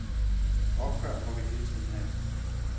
Opgør må vi hele tiden have.